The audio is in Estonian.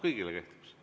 Kõigile kehtivad need.